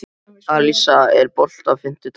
Alisa, er bolti á fimmtudaginn?